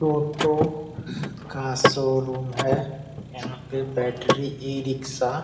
टोटो का शोरूम है यहाँ पर बैटरी इ-रिक्शा --